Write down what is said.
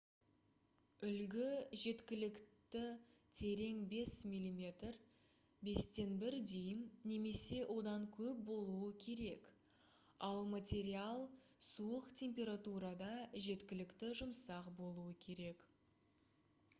үлгі жеткілікті терең 5 мм 1/5 дюйм немесе одан көп болуы керек ал материал суық температурада жеткілікті жұмсақ болуы керек